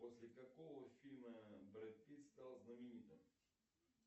после какого фильма брэд питт стал знаменитым